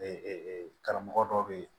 karamɔgɔ dɔw bɛ ye